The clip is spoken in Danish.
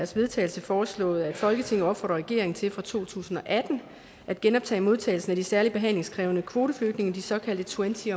til vedtagelse foreslået at folketinget opfordrer regeringen til fra to tusind og atten at genoptage modtagelsen af de særligt behandlingskrævende kvoteflygtninge de såkaldte twenty